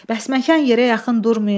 Bəsməkan yerə yaxın durmayın.